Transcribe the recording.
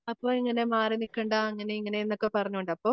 അപ്പൊ ഇങ്ങനെ മാറിനിക്കേണ്ട അങ്ങനെ ഇങ്ങനെയെന്നോക്കെ പറഞ്ഞുകൊണ്ട് അപ്പൊ